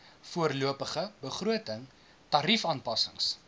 voorlopige begroting tariefaanpassings